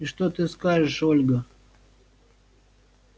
и что ты скажешь ольга